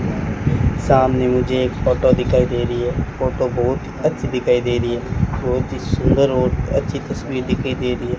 सामने मुझे एक फोटो दिखाई दे रही है फोटो बहुत अच्छी दिखाई दे रही है बहुत ही सुंदर और अच्छी तस्वीर दिखाई दे रही है।